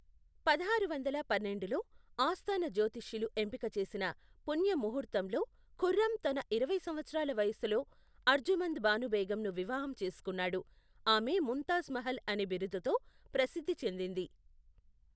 పదహారు వందల పన్నెండులో, ఆస్థాన జోతిష్యులు ఎంపిక చేసిన పుణ్య ముహూర్తంలో ఖుర్రం తన ఇరవై సంవత్సరాల వయస్సులో, అర్జుమంద్ బాను బేగంను వివాహం చేసుకున్నాడు, ఆమె ముంతాజ్ మహల్ అనే బిరుదుతో ప్రసిద్ధి చెందింది.